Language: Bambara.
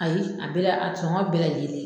Ayi a bɛɛ la a sɔgɔn bɛɛ lajɛlen.